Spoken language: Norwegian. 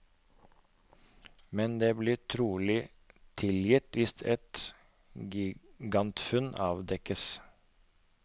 Men det blir trolig tilgitt hvis et gigantfunn avdekkes.